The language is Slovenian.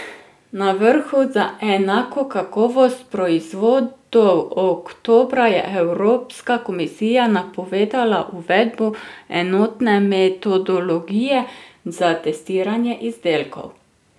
Na vrhu za enako kakovost proizvodov oktobra je Evropska komisija napovedala uvedbo enotne metodologije za testiranje izdelkov.